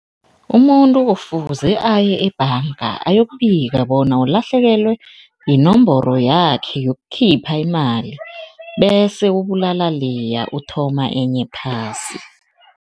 Umuntu kufuze aye ebhanga ayokubika bona ulahlekelwe yinomboro yakhe yokukhipha imali bese ubulala leya, uthoma enye phasi.